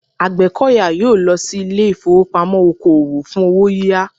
Àgbẹ̀kọ̀yà yóò lọ sí ilé ìfowópamọ́ oko òwò fún owó yíyá